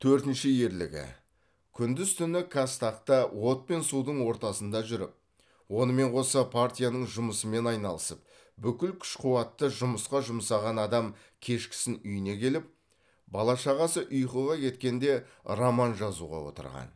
төртінші ерлігі күндіз түні қазтаг та от пен судың ортасында жүріп онымен қоса партияның жұмысымен айналысып бүкіл күш қуатты жұмысқа жұмсаған адам кешкісін үйіне келіп бала шағасы ұйқыға кеткенде роман жазуға отырған